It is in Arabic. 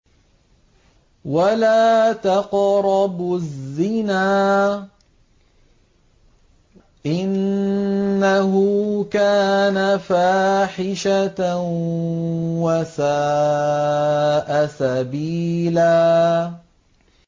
وَلَا تَقْرَبُوا الزِّنَا ۖ إِنَّهُ كَانَ فَاحِشَةً وَسَاءَ سَبِيلًا